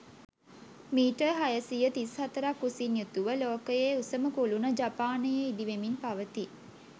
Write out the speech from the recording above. Metre හයසිය තිස්හතරක් උසින් යුතුව ලෝකයේ උසම කුළුණ ජපානයේ ඉදිවෙමින් පවතී.